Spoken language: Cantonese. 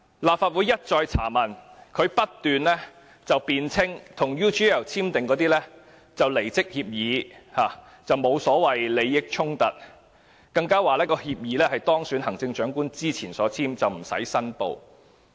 立法會一再查問，但他不斷辯稱與 UGL 簽署的是離職協議，沒有利益衝突，他還說協議是在當選行政長官之前簽訂的，無須申報。